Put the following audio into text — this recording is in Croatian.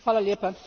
Hvala lijepa.